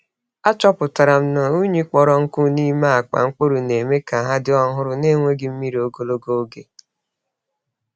Achọpụtara m na unyi kpọrọ nkụ n'ime akpa mkpụrụ na-eme ka ha dị ọhụrụ na enweghị mmiri ogologo oge.